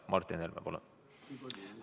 Martin Helme, palun!